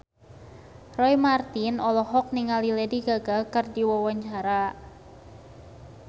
Roy Marten olohok ningali Lady Gaga keur diwawancara